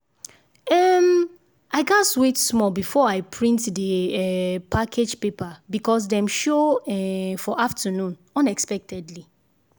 um i gatz wait small before i print the um package paper because dem show um for afternoon unexpectedly